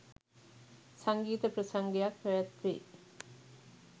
සංගීත ප්‍රසංගයක් පැවැත්වේ.